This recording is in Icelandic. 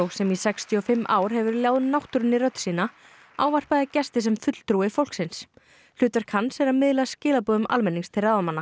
sem í sextíu og fimm ár hefur ljáð náttúrunni rödd sína ávarpaði gesti sem fulltrúi fólksins hlutverk hans er að miðla skilaboðum almennings til ráðamanna